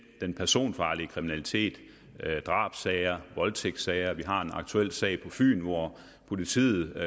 den personfarlige kriminalitet drabssager voldtægtssager vi har også en aktuel sag på fyn hvor politiet